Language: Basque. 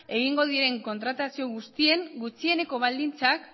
egingo diren kontratazio guztien gutxieneko baldintzak